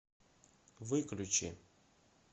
выключи